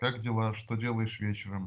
как дела что делаешь вечером